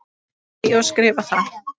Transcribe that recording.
Segi og skrifa það.